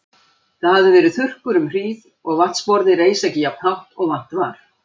Það hafði verið þurrkur um hríð og vatnsborðið reis ekki jafnt hátt og vant var.